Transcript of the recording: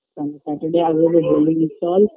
sun saturday আগে হলে